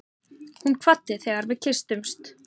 Hún kvaddi þegar við kysstumst.